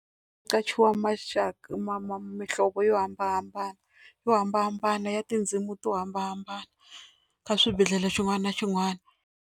Ku qachiwa maxaka ma mihlovo yo hambanahambana yo hambanahambana ya tindzimi to hambanahambana ka swibedhlele xin'wana na xin'wana.